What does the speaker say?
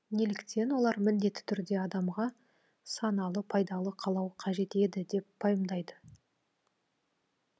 неліктен олар міндетті түрде адамға саналы пайдалы қалау қажет еді деп пайымдайды